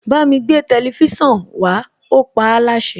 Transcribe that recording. Bámi gbé tẹlifísàn wá, ó paáláṣẹ.